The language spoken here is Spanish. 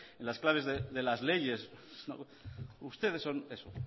en las claves de las leyes ustedes son eso